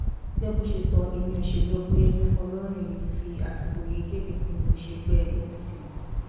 gẹ́gẹ́ bó ṣe sọ ẹ̀mí sẹ́lúù ọ̀pẹyẹmí fọlọ́rìn fi àsìkò yìí kéde pé mi ò ṣègbè apc mọ́